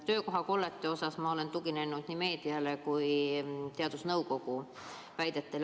Töökohakollete osas ma olen tuginenud nii meediale kui ka teadusnõukoja väidetele.